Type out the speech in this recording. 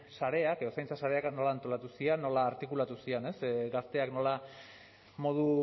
sarea edo zaintza sareak nola antolatu ziren nola artikulatuko ziren gazteak nola modu